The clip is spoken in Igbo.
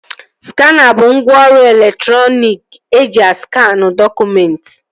Skana bụ ngwaọrụ elektriki eji askanụ dọkụmentị